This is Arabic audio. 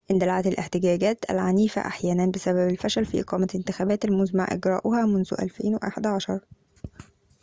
اندلعت الاحتجاجات العنيفة أحياناً بسبب الفشل في إقامة الانتخابات المزمع إجراؤها منذ 2011